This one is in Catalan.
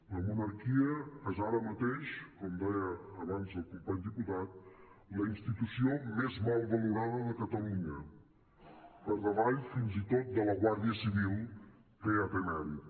la monarquia és ara mateix com deia abans el company diputat la institució més mal valorada de catalunya per davall fins i tot de la guàrdia civil que ja té mèrit